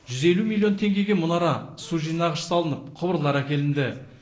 жүз елу миллион теңгеге мұнара су жинағыш салынып құбырлар әкелінді